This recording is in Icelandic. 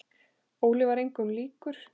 Óli var engum líkur.